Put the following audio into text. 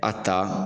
A ta